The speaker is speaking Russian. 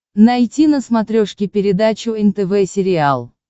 найти на смотрешке передачу нтв сериал